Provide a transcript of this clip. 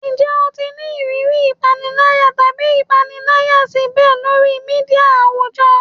Njẹ o ti ni iriri ipanilaya tabi ipanilaya cyber lori media awujọ?